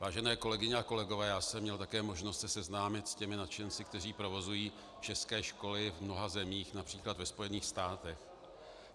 Vážené kolegyně a kolegové, já jsem měl také možnost se seznámit s těmi nadšenci, kteří provozují české školy v mnoha zemích, například ve Spojených státech.